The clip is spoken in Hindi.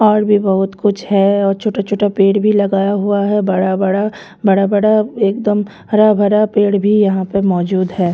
और भी बहुत कुछ है और छोटा छोटा पेड़ भी लगाया हुआ है बड़ा बड़ा बड़ा बड़ा एकदम हरा भरा पेड़ भी यहां पे मौजूद है।